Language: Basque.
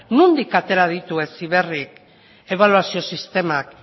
nondik atera ditu heziberrik ebaluazio sistemak